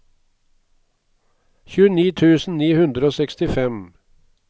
tjueni tusen ni hundre og sekstifem